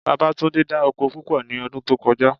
Babátúndé dá oko púpọ̀ ní ọdún tó kọjá